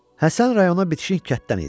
Həsən rayonuna bitişik kənddən idi.